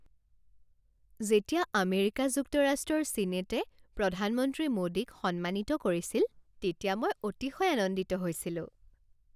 যেতিয়া আমেৰিকা যুক্তৰাষ্ট্ৰৰ ছিনেটে প্ৰধানমন্ত্ৰী মোডীক সন্মানিত কৰিছিল তেতিয়া মই অতিশয় আনন্দিত হৈছিলোঁ।